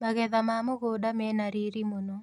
Magetha ma mũgunda mena riri mũno.